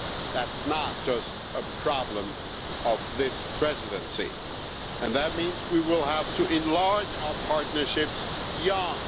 That's not just a problem of this Presidency, and that means we will have to enlarge our partnerships beyond.